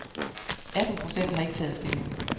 Atten procent har ikke taget stilling.